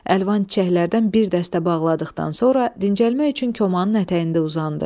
Əlvan çiçəklərdən bir dəstə bağladıqdan sonra dincəlmək üçün komanın ətəyində uzandı.